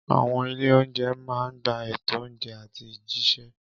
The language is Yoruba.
Àwọn ilé-oúnjẹ máa ń gba ètò oúnjẹ àti jíṣẹ́.